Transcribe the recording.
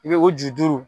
I b'o o ju duuru